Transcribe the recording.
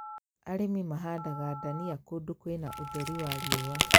Arĩmi mahandaga ndania kũndũ kwĩna utheri wa riũa